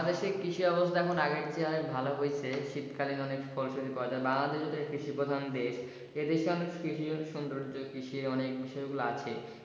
বাংলাদেশের কৃষি অবস্থা আগের থেকে অনেক ভালো হইছে কিন্তু এখন শীতকালে অনেক ফসল ফলে বাংলাদেশ যেহেতু কৃষি প্রধান দেশ এসিকে অনেক কৃষি সুন্দর্জ কৃষির অনেক গুলা বিষয় আছে।